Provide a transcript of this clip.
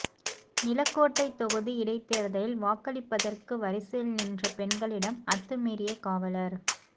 நிலக்கோட்டை தொகுதி இடைத்தேர்தலில் வாக்களிப்பதற்கு வரிசையில் நின்ற பெண்களிடம் அத்துமீறிய காவலர்